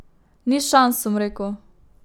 Ni šans, sem rekel.